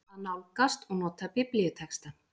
AÐ NÁLGAST OG NOTA BIBLÍUTEXTA